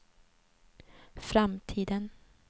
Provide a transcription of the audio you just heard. framtiden